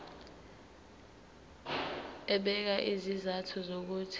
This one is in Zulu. ebeka izizathu zokuthi